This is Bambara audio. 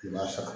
I b'a sara